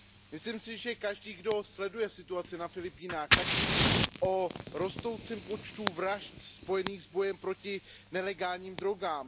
Myslím si, že každý, kdo sleduje situaci na Filipínách, tak ví o rostoucím počtu vražd spojených s bojem proti nelegálním drogám.